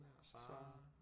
Sara